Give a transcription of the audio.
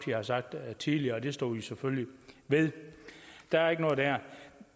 har sagt tidligere og det står vi selvfølgelig ved der er ikke noget der